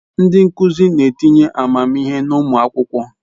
Ndi nkuzi n'etinye amamihe n'umu akwukwo